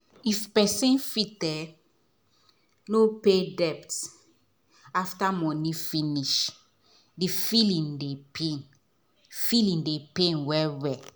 the husband and wife really dey think am well well if them go invest there money for city or village